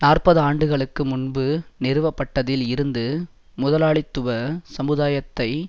நாற்பது ஆண்டுகளுக்கு முன்பு நிறுவப்பட்டதில் இருந்து முதலாளித்துவ சமுதாயத்தை